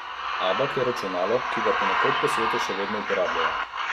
Abak je računalo, ki ga ponekod po svetu še vedno uporabljajo.